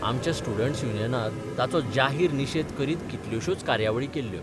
आमच्या स्टुडंट्स युनियानात ताचो जाहीर निशेध करीत कितल्योशोच कार्यावळी केल्ल्यो.